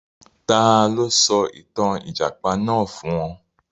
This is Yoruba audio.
Ta ló sọ ìtàn Ìjàpá náà fún ọ?